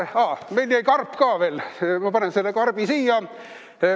Aa, meil jäi karp ka veel, ma panen selle karbi siia.